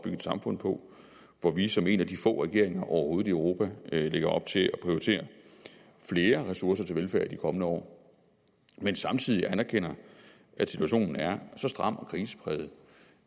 et samfund på og hvor vi som en af de få regeringer overhovedet i europa lægger op til at prioritere flere ressourcer til velfærd i de kommende år men samtidig anerkender at situationen er så stram og krisepræget